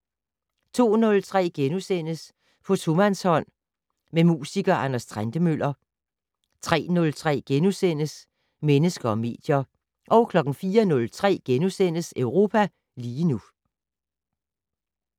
02:03: På tomandshånd med musiker Anders Trentemøller * 03:03: Mennesker og medier * 04:03: Europa lige nu *